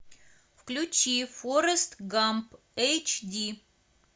включи форест гамп эйч ди